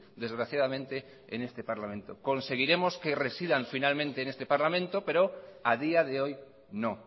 desgraciadamente en este parlamento conseguiremos que residan finalmente en este parlamento pero a día de hoy no